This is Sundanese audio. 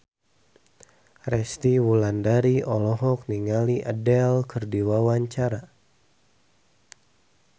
Resty Wulandari olohok ningali Adele keur diwawancara